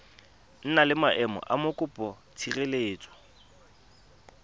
na le maemo a mokopatshireletso